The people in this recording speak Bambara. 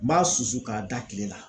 N b'a susu k'a da tile la